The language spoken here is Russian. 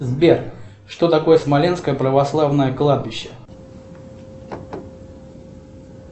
сбер что такое смоленское православное кладбище